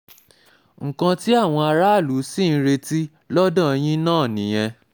nǹkan tí àwọn aráàlú sì ń retí lọ́dọ̀ yín náà nìyẹn